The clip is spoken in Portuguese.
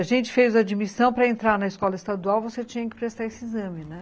A gente fez a admissão para entrar na escola estadual, você tinha que prestar esse exame, né?